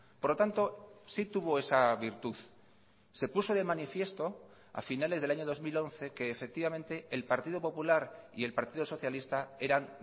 por lo tanto sí tuvo esa virtud se puso de manifiesto a finales del año dos mil once que efectivamente el partido popular y el partido socialista eran